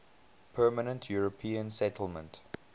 permanent european settlement